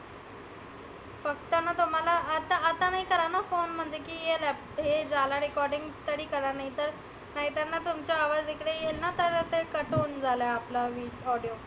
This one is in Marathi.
फक्त ना तर मला आता आता नाही कराना phone म्हणजे हे लाप हे झाला recording तरी करा नाही तर, नाहीना तर तुमचा आवाज इकडे येईल ना तेव्हा ते cut होऊन जाइल आपला वी audio